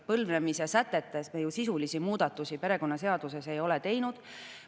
Põlvnemise sätetes me sisulisi muudatusi perekonnaseaduses ei ole teinud.